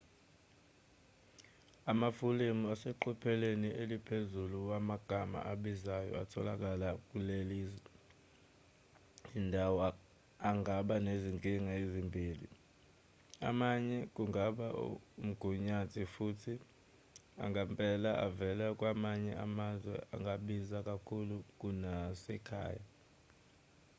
amafulemu aseqophelweni eliphezulu wamagama abizayo atholakala kulezi zindawo angaba nezinkinga ezimbili amanye kungaba omgunyathi futhi angempela avela kwamanye amazwe angabiza kakhulu kunasekhaya